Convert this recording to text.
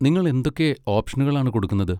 നിങ്ങൾ എന്തൊക്കെ ഓപ്ഷനുകളാണ് കൊടുക്കുന്നത്?